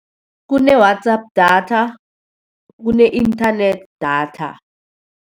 Kune-WhatsApp data, kune-internet data.